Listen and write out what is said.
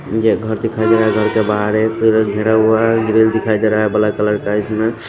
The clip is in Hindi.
घर दिखाई दे रहा है घर के बाहर एक घिरा हुआ है ग्रिल दिखाई दे रहा है ब्लैक कलर का इसमें--